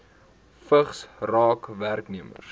vigs raak werknemers